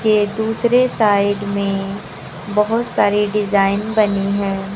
ये दूसरे साइड में बहुत सारे डिजाइन बने हैं।